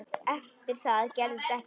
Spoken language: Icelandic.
Eftir það gerðist ekkert.